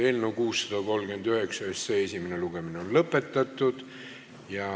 Eelnõu 639 esimene lugemine on lõpetatud.